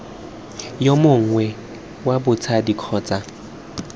yo mongwe wa batsadi kgotsa